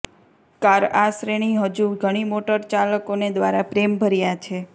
car આ શ્રેણી હજુ ઘણી મોટરચાલકોને દ્વારા પ્રેમભર્યા છે